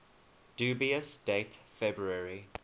dubious date february